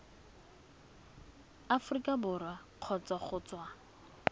aforika borwa kgotsa go tswa